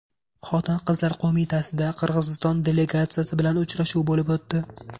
Xotin-qizlar qo‘mitasida Qirg‘iziston delegatsiyasi bilan uchrashuv bo‘lib o‘tdi.